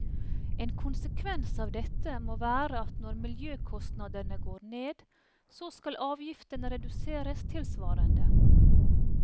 En konsekvens av dette må være at når miljøkostnadene går ned, så skal avgiftene reduseres tilsvarende.